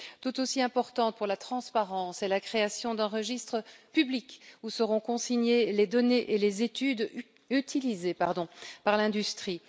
Tout aussi importante pour la transparence est la création d'un registre public où seront consignées les données et les études utilisées par l'industrie.